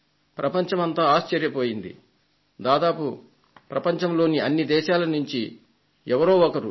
ప్రపంచమంతా ఆశ్చర్యపోయింది దాదాపు ప్రపంచంలోని అన్ని దేశాల నుండి ఎవరో ఒకరు